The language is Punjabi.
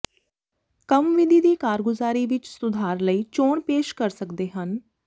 ਕੰਮ ਵਿਧੀ ਦੀ ਕਾਰਗੁਜ਼ਾਰੀ ਵਿੱਚ ਸੁਧਾਰ ਲਈ ਚੋਣ ਪੇਸ਼ ਕਰ ਸਕਦੇ ਹਨ